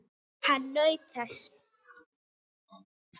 Hann naut þess.